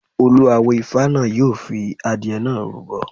Olú awo Ifá náà yóò fi adìẹ náà rúbọ.